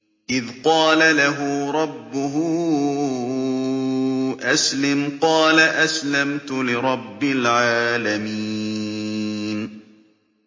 إِذْ قَالَ لَهُ رَبُّهُ أَسْلِمْ ۖ قَالَ أَسْلَمْتُ لِرَبِّ الْعَالَمِينَ